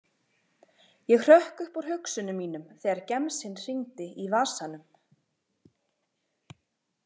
Ég hrökk upp úr hugsunum mínum þegar gemsinn hringdi í vasanum.